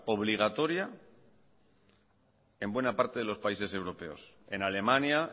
obligatoria en buena parte de los países europeos en alemania